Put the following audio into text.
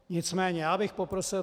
Nicméně já bych poprosil.